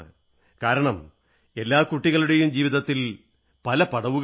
കാരണം എല്ലാ കുട്ടികളുടെയും ജീവിതത്തിൽ പല പടവുകളുമുണ്ട്